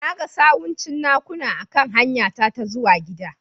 Na ga sawun cinnakuna a kan hanyara ta zuwa gida.